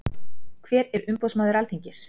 Hver er umboðsmaður Alþingis?